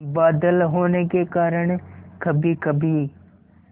बादल होने के कारण कभीकभी